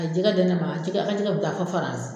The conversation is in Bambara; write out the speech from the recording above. A jɛgɛ ne ma a jɛgɛ an ka jɛgɛ bɛ taa fo faranzi.